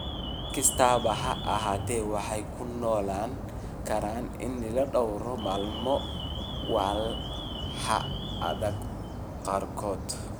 Si kastaba ha ahaatee, waxay ku noolaan karaan ilaa dhowr maalmood walxaha adag qaarkood.